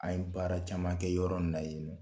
An ye baara caman kɛ yɔrɔ in na yen